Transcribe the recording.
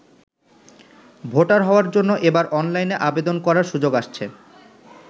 Voter হওয়ার জন্য এবার অনলাইনে আবেদন করার সুযোগ আসছে।